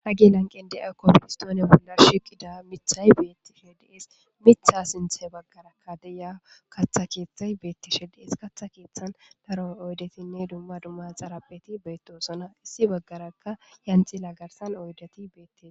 Hage lanqen de'a kopoistoone bolla shiqida mithay beetti she dees mitha sinthe baggarakka deya katha keeththay beettishe dees katha keeththan daro oydetinne dumma dumma xarabeti beytosona issi baggarakka yancila garsan oydati beette.